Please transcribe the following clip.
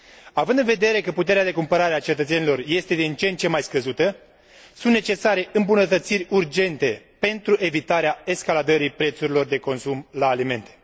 Având în vedere că puterea de cumpărare a cetățenilor este din ce în ce mai scăzută, sunt necesare îmbunătățiri urgente pentru evitarea escaladării prețurilor de consum la alimente.